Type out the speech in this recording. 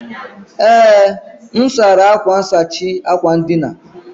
Ee, m sara akwa nsachi akwa ndina